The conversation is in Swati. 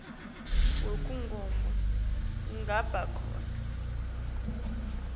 wekugoma ungaba khona